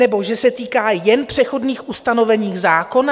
Nebo že se týká jen přechodných ustanovení zákona?